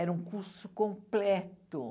Era um curso completo.